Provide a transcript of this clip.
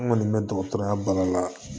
N kɔni bɛ dɔgɔtɔrɔya baara la